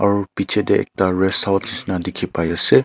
aru picche te ekta resthouse nishina dekhi pai ase.